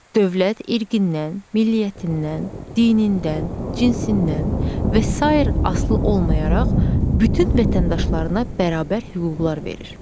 Dövlət irqindən, milliyətindən, dinindən, cinsindən və sair asılı olmayaraq bütün vətəndaşlarına bərabər hüquqlar verir.